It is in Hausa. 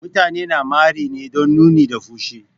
Mutane na mari ne don nuni da fushi.